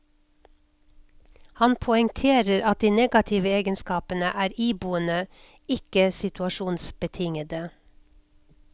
Han poengterer at de negative egenskapene er iboende, ikke situasjonsbetingede.